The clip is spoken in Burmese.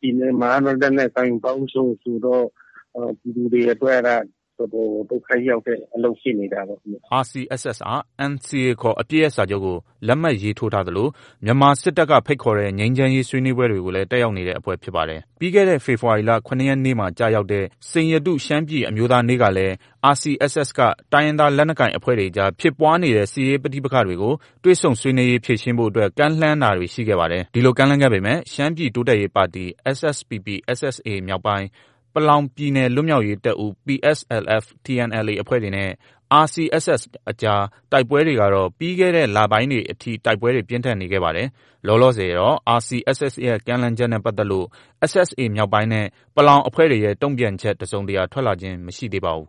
ပြည်နယ်မှာကတော့ လက်နက်ကိုင်ပေါင်းစုံဆိုတော့ ပြည်သူတွေအတွက်က တော်တော်ကို ဒုက္ခရောက်တဲ့အလုပ်ဖြစ်နေတာပေါ့။” RCSS ဟာ NCA ခေါ် အပစ်ရပ်စာချုပ်ကို လက်မှတ် ရေးထိုးထားသလို မြန်မာစစ်တပ်က ဖိတ်ခေါ်တဲ့ ငြိမ်းချမ်းရေးဆွေးနွေးပွဲကိုလည်း တက်ရောက်နေတဲ့ အဖွဲ့ဖြစ်ပါတယ်။ ပြီးခဲ့တဲ့ ဖေဖော်ဝါရီလ ၇ ရက်နေ့ မှာ ကျရောက်တဲ့ စိန်ရတု ရှမ်းပြည်အမျိုးသားနေ့ကလည်း RCSS က တိုင်းရင်းသားလက်နက်ကိုင်အဖွဲ့တွေကြား ဖြစ်နေတဲ့ တွေ့ဆုံဆွေးနွေးရေး ဖြေရှင်းဖို့အတွက် ကမ်းလှမ်းတာတွေ ရှိခဲ့ပါတယ်။ ဒီလို ကမ်းလှမ်းခဲ့ပေမယ့် ရှမ်းပြည်တိုးတက်ရေးပါတီ SSPP/SSA မြောက်ပိုင်း၊ ပလောင်ပြည်နယ် လွတ်မြောက်ရေးတပ်ဦး PSLF/TNLA အဖွဲ့တွေနဲ့ RCSS ကြား တိုက်ပွဲတွေကတော့ ပြီးခဲ့တဲ့ လပိုင်းတွေအထိ ပြင်းထန်နေခဲ့ပါတယ်။ လောလောဆယ်တော့ RCSS ရဲ့ ကမ်းလှမ်းချက်နဲ့ ပတ်သက်လို့ SSA မြောက်ပိုင်းနဲ့ ပလောင် အဖွဲ့တွေရဲ့တုံ့ပြန်ချက် တစုံတရာ ထွက်လာခြင်း မရှိသေးပါဘူး